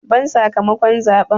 Ban sakamakon zaɓen!